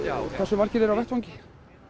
hversu margir eru á vettvangi